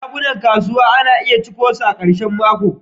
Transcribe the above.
shagunan kasuwa na iya cika cunkoso a karshen mako.